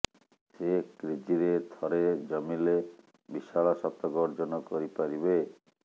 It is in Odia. ସେ କ୍ରିଜ୍ରେ ଥରେ ଜମିଲେ ବିଶାଳ ଶତକ ଅର୍ଜନ କରିପାରିବେ